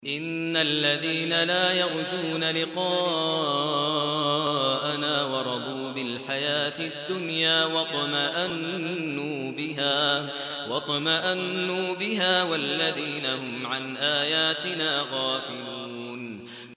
إِنَّ الَّذِينَ لَا يَرْجُونَ لِقَاءَنَا وَرَضُوا بِالْحَيَاةِ الدُّنْيَا وَاطْمَأَنُّوا بِهَا وَالَّذِينَ هُمْ عَنْ آيَاتِنَا غَافِلُونَ